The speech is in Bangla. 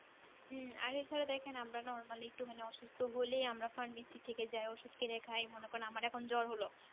হম আরেকধারে দেখেন আমরা normally একটু মানে অসুস্থ হলেই আমরা pharmacy থেকে যাই ওষুধ কিনে খাই মনে করেন আমার এখন জ্বর হলো